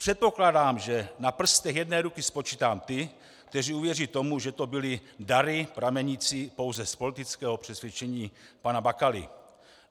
Předpokládám, že na prstech jedné ruky spočítám ty, kteří uvěří tomu, že to byly dary pramenící pouze z politického přesvědčení pana Bakaly.